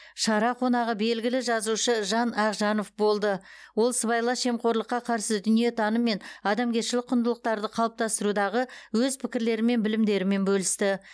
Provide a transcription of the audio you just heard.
шара қонағы белгілі жазушы жан ақжанов болды ол сыбайлас жемқорлыққа қарсы дүниетаным мен адамгершілік құндылықтарды қалыптастырудағы өз пікірлері мен білімдерімен бөлісті